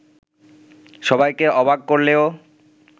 সবাইকে অবাক করলেও